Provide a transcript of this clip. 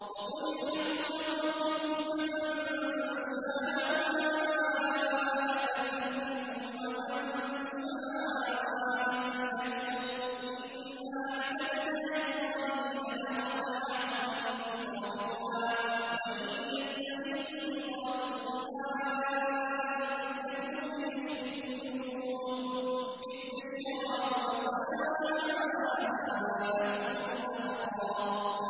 وَقُلِ الْحَقُّ مِن رَّبِّكُمْ ۖ فَمَن شَاءَ فَلْيُؤْمِن وَمَن شَاءَ فَلْيَكْفُرْ ۚ إِنَّا أَعْتَدْنَا لِلظَّالِمِينَ نَارًا أَحَاطَ بِهِمْ سُرَادِقُهَا ۚ وَإِن يَسْتَغِيثُوا يُغَاثُوا بِمَاءٍ كَالْمُهْلِ يَشْوِي الْوُجُوهَ ۚ بِئْسَ الشَّرَابُ وَسَاءَتْ مُرْتَفَقًا